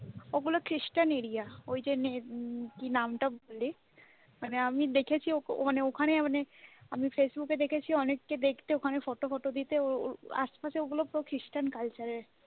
ওগুলো খ্রিস্টান area ওই যে নামটা বললি মানে আমি দেখেছি ওখানে মানে আমি ফেসবুকে দেখেছি অনেককে দেখতে মানে ওখানে photo ফটো দিতে ওইগুলো সব খ্রিস্টান culture র